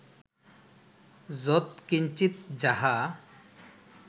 যৎকিঞ্চিৎ যাহা